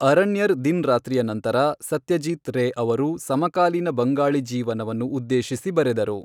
ಅರಣ್ಯರ್ ದಿನ್ ರಾತ್ರಿಯ ನಂತರ ಸತ್ಯಜೀತ್ ರೇ ಅವರು ಸಮಕಾಲೀನ ಬಂಗಾಳಿ ಜೀವನವನ್ನು ಉದ್ದೇಶಿಸಿ ಬರೆದರು.